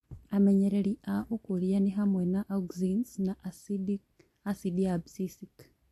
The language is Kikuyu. Amenyereri a ũkũria ni hamwe na Auxins na asidi ya abscisic